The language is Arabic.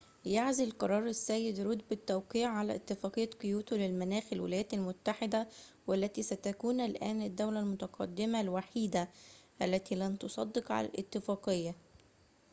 يعزل قرار السيد رود بالتوقيع على اتفاقية كيوتو للمناخ الولايات المتحدة والتي ستكون الآن الدولة المتقدمة الوحيدة التي لن تصدق على الاتفاقية